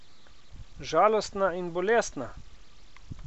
Žalostna in bolestna?